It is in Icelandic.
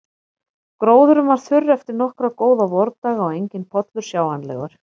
Gróðurinn var þurr eftir nokkra góða vordaga og enginn pollur sjáanlegur.